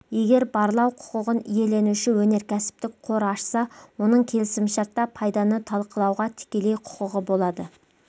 егер барлау құқығын иеленуші өнеркәсіптік қор ашса оның келісімшартта пайданы талқылауға тікелей құқығы болады